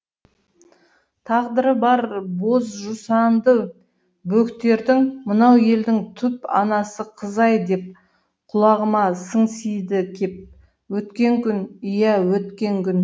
тағдыры бар боз жусанды бөктердің мынау елдің түп анасы қызай деп құлағыма сыңсиды кеп өткен күн иә өткен күн